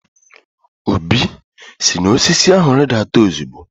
Obi, si n'osisi ahu ridata ozugbo!